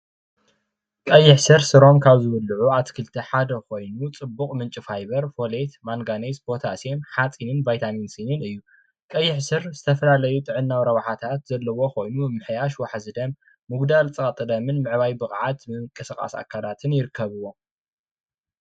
ቀይሕ ሱር ሱሮም ካብ ዝብልዑ ኣትክልቲ ሓደ ኾይኑ ፅቡቅ ምንጪ ፋይበር ፣ፓታሲየም ፣ማንጋኔዝ እዩ። ቀይሕ ስር ዝተፈላለዩ ጥዕናዋ ረብሓታት ዘለዎ ኾይኑ ምምሕይሽ ዋሕዚ ደም ፤ መመሕያሽ ፀቅጢ ደሞ ይገብር